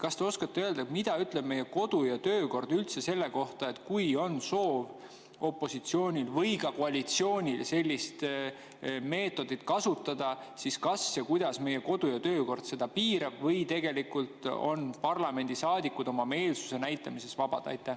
Kas te oskate öelda, mida ütleb meie kodu‑ ja töökord üldse selle kohta, et kui on soov opositsioonil või ka koalitsioonil sellist meetodit kasutada, siis kas ja kuidas meie kodu‑ ja töökord seda piirab või tegelikult on parlamendisaadikud oma meelsuse näitamises vabad?